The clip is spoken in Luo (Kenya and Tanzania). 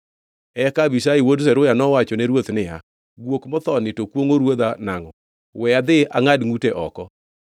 Eka Abishai wuod Zeruya nowachone ruoth niya, “Guok mothoni to kwongʼo ruodha nangʼo? We adhi angʼad ngʼute oko.”